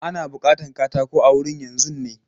Ana bukatan katako a wurin yanzun ne?